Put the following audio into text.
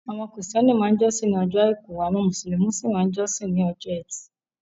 Àwọn kìrìsítẹ́nì máa ń jọ́sìn ní ọjọ́ àìkú, àwọn mùsùlùmí sí máa ń jọ́sìn ní ọjọ́ ẹtì.